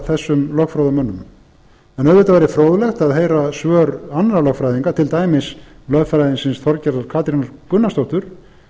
þessum lögfróðu mönnum en auðvitað væri fróðlegt að heyra svör annarra lögfræðinga til dæmis lögfræðingsins þorgerðar katrínar gunnarsdóttur